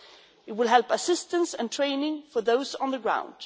It will help assistance and training for those on the ground